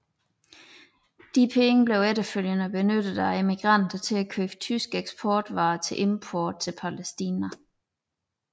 Disse penge blev efterfølgende benyttet af emigranterne til at købe tyske eksportvarer til import til Palæstina